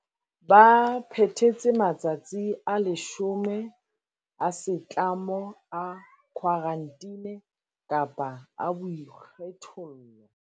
Ba phethetse matsatsi a 10 a setlamo a khwarantine kapa a boikgethollo.